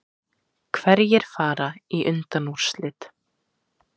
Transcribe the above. Hverjir fara í undanúrslit